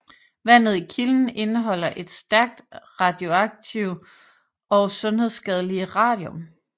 Vandet i kilden indeholder det stærkt radioaktive og sundhedsskadelige radium